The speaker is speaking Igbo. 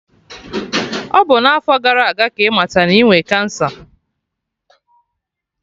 Ọ bụ n'afo gara aga ka ịmata na inwe kansa